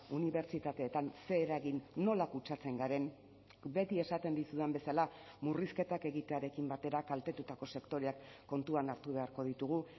unibertsitateetan zer eragin nola kutsatzen garen beti esaten dizudan bezala murrizketak egitearekin batera kaltetutako sektoreak kontuan hartu beharko ditugu